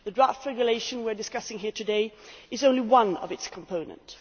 The draft regulation we are discussing here today is only one of its components.